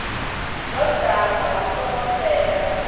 ḓo dzama hu songo fhela